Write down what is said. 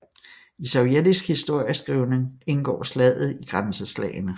I sovjetisk historieskrivning indgår slaget i Grænseslagene